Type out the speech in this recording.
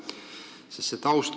Ikkagi, see taust.